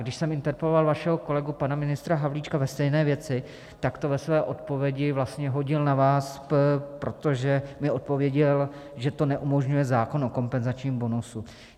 Když jsem interpeloval vašeho kolegu pana ministra Havlíčka ve stejné věci, tak to ve své odpovědi vlastně hodil na vás, protože mi odpověděl, že to neumožňuje zákon o kompenzačním bonusu.